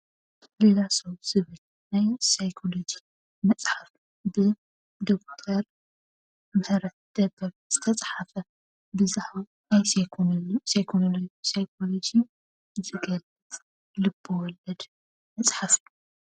ሌላ ሰው ዝብል ናይ ሳይኮሎጂ መፅሓፍ ብዶክተር ምሕረት ደበብ ዝተፃሕፈ ብዛዕባ ናይ ሳይኮሎጂ ዝገልፅ ልበወለድ መፅሓፍ እዩ፡፡